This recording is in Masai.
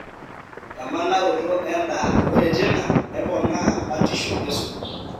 emanaroto endaa, ore tinaa nepoona batisho esumash,